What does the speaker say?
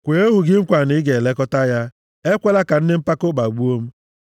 Kwee ohu gị nkwa na ị ga-elekọta ya; ekwela ka ndị mpako kpagbuo m.